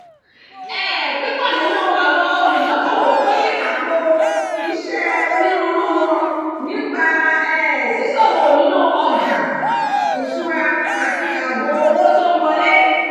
um "púpọ̀ nínú àwọn olùdókòwò pín àpò-iṣẹ́ onírúurú wọn nípa um ṣíṣòwò nínú ọjà ìṣúra àti ààbò owó tó ń wọlé